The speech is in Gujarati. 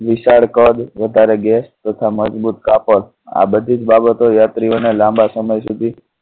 વિશાળ કદ વધારે gas તથા મજબૂત કાપડ આ બધી જ બાબતો યાત્રીઓ ને લાંબા સમય સુધી